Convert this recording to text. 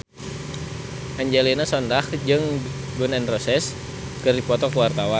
Angelina Sondakh jeung Gun N Roses keur dipoto ku wartawan